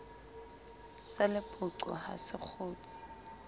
sa lepoqo ha se kgutse